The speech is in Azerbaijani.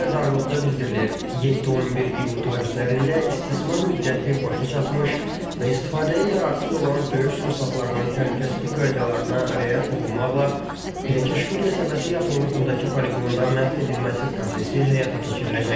Xəbərdarlıqda bildirilir: 7-11 iyul tarixlərində istismar müddəti başa çatmış və istifadəyə yararsız olan döyüş sursatlarının təhlükəsizlik qaydalarına riayət olunmaqla Pürəkeşqül qəsəbəsi yaxınlığındakı poliqonda məhv edilməsi prosesi həyata keçiriləcək.